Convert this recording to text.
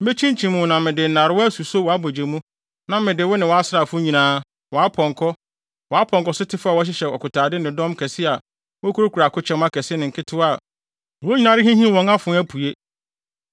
Mekyinkyim wo na mede nnarewa asuso wʼabogye mu na mede wo ne wʼasraafo nyinaa, wʼapɔnkɔ, wʼapɔnkɔsotefo a wɔhyehyɛ akotade ne dɔm kɛse a wokurakura akokyɛm akɛse ne nketewa a wɔn nyinaa rehinhim wɔn afoa, apue.